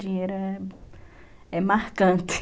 Dinheiro é, é marcante.